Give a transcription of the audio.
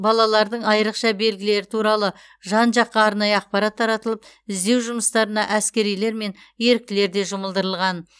балалардың айрықша белгілері туралы жан жаққа арнайы ақпарат таратылып іздеу жұмыстарына әскерилер мен еріктілер де жұмылдырылған